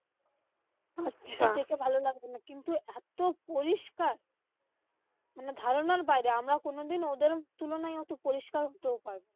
মানুষ দেখে ভালো লাগবে না, কিন্তু এত পরিষ্কার। মানে ধারণার বাইরে আমরা কোনদিন ওদের তুলনায় অত পরিষ্কার হতে পারব না।